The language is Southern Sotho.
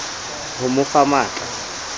ho mo fa matl a